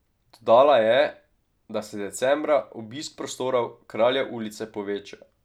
Dodala je, da se decembra obisk prostorov Kraljev ulice poveča.